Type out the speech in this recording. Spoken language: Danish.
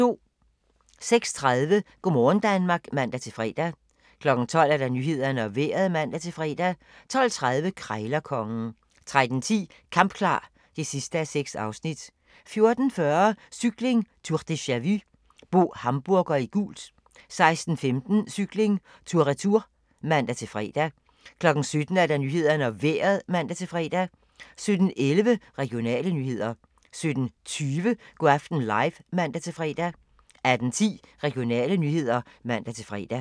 06:30: Go' morgen Danmark (man-fre) 12:00: Nyhederne og Vejret (man-fre) 12:30: Krejlerkongen 13:10: Kampklar (6:6) 14:40: Cykling: Tour deja-vu - Bo Hamburger i gult 16:15: Cykling: Tour Retour (man-fre) 17:00: Nyhederne og Vejret (man-fre) 17:11: Regionale nyheder 17:20: Go' aften live (man-fre) 18:10: Regionale nyheder (man-fre)